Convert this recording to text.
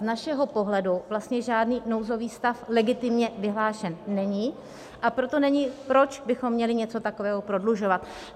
Z našeho pohledu vlastně žádný nouzový stav legitimně vyhlášen není, a proto není, proč bychom měli něco takového prodlužovat.